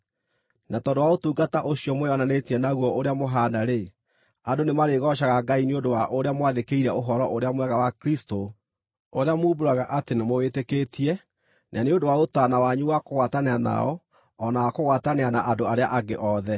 Na tondũ wa ũtungata ũcio mwĩonanĩtie naguo ũrĩa mũhaana-rĩ, andũ nĩmarĩgoocaga Ngai nĩ ũndũ wa ũrĩa mwathĩkĩire Ũhoro-ũrĩa-Mwega wa Kristũ ũrĩa muumbũraga atĩ nĩmũwĩtĩkĩtie-rĩ, na nĩ ũndũ wa ũtaana wanyu wakũgwatanĩra nao o na wakũgwatanĩra na andũ arĩa angĩ othe.